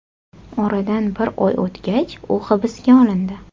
Oradan bir oy o‘tgach, u hibsga olindi.